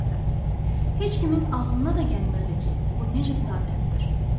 Heç kimin ağlına da gəlmirdi ki, bu necə səadətdir.